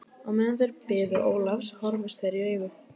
Á meðan þeir biðu Ólafs horfðust þeir í augu.